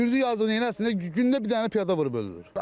Sürücü yazıq neyləsin, gündə bir dənə piyada vurub ölür.